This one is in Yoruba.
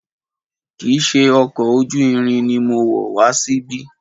Kìí ṣe ọkọ̀ ojú irin ni mo wọ̀ wá síbí.